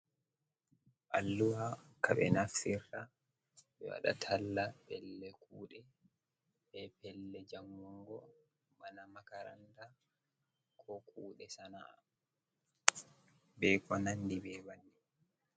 Alluwa ka ɓe naftirta ɓe waɗa talla pellel kuɗe be pellel jangugo bana makaranta, ko kuɗe sana'a be ko nandi be banni.